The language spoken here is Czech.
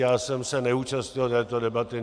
Já jsem se neúčastnil této debaty.